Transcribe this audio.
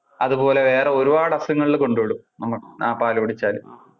അതുപോലെ വേറെ ഒരുപാട് അസുഖങ്ങളിൽ കൊണ്ടവിടും ആ പാല് കുടിച്ചാൽ.